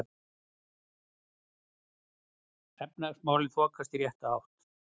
Efnahagsmálin þokast í rétta átt